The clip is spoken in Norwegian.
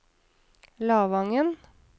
Lavangen